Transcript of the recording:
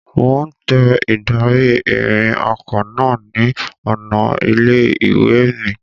Mo ń tẹ ìdarí-ìrìn ọkọ náà ni ọ̀nà ilé-ìwé mi.